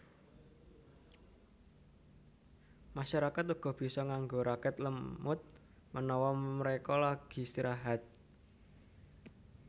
Masyarakat uga bisa nganggo raket lemut menawa mereka lagi istirahat